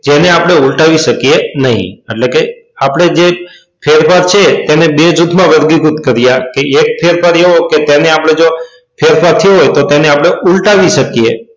જેને આપણે ઉલટાવી શકીએ નહીં એટલે કે આપણે જે ફેરફાર છે તેને બે જૂથમાં વર્ગીકૃત કરી આજથી તે કડીઓ આપણે જે ફેરફાર થયો હોય તેને આપણે ઉલટાવી શકીએ.